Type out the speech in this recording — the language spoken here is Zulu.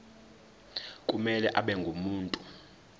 kumele abe ngumuntu